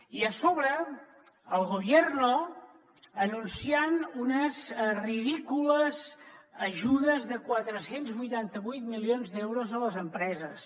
i a sobre el gobierno anunciant unes ridícules ajudes de quatre cents i vuitanta vuit milions d’euros a les empreses